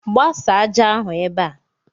Gbasa ájá ahụ ebe a!